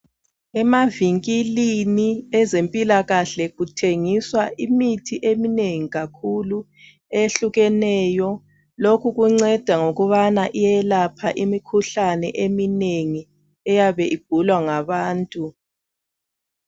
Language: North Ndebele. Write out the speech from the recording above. Emavinkilini ezempilakahle kuthengiswa imithi eminengi kakhulu eyehlukeneyo .Lokhu kunceda ngokubana iyelapha imikhuhlane eminengi eyabe igulwa ngabantu.